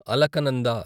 Alaknanda